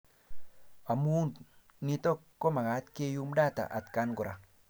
Amuu nito komakat keyum data atkan kora